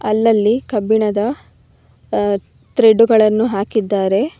ಅಲ್ಲಲ್ಲಿ ಕಬ್ಬಿಣದ ತ್ರೆಡ್ಡು ಗಳನ್ನು ಹಾಕಿದ್ದಾರೆ.